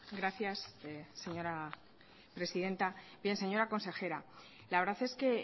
gracias señora presidenta bien señora consejera la verdad es que